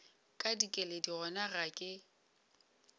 ka dikeledi gona ga ke